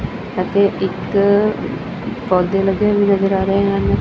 ਅਤੇ ਇੱਕ ਪੌਦੇ ਲੱਗੇ ਵੀ ਨਜ਼ਰ ਆ ਰਹੇ ਹਨ।